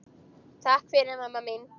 Takk fyrir mamma mín.